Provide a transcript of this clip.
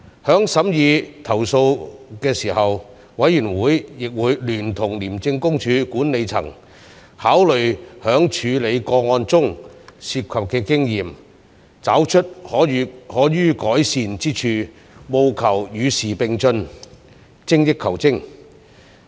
在審議投訴時，委員會亦會聯同廉政公署管理層，考慮在處理個案中涉及的經驗，找出可予改善之處，務求與時並進，精益求精。